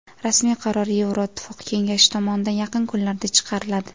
Rasmiy qaror Yevroittifoq kengashi tomonidan yaqin kunlarda chiqariladi.